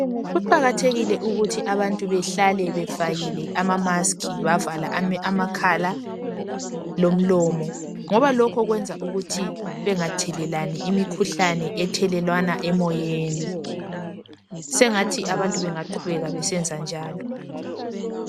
Kuqakathekile ukuthi abantu bahlale befakile ama masikhi bavala amakhala lomlomo ngoba lokho kwenza ukuthi bengathelelani imikhuhlane ethelelwana emoyeni, sengathi abantu bengaqhubeka besenza njalo.